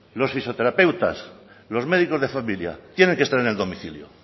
los fisioterapeutas los médicos de familia tienen que estar en el domicilio